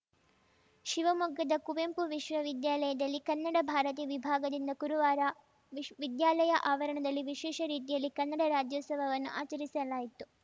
ಶಿವಮೊಗ್ಗದ ಕುವೆಂಪು ವಿಶ್ವವಿದ್ಯಾಲಯದಲ್ಲಿ ಕನ್ನಡ ಭಾರತಿ ವಿಭಾಗದಿಂದ ಕುರುವಾರ ವಿಶ್ ವಿದ್ಯಾಲಯ ಆವರಣದಲ್ಲಿ ವಿಶೇಷ ರೀತಿಯಲ್ಲಿ ಕನ್ನಡ ರಾಜ್ಯೋತ್ಸವವನ್ನು ಆಚರಿಸಲಾಯಿತು